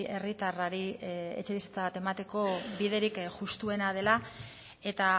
herritarrari etxebizitza bat emateko biderik justuena dela eta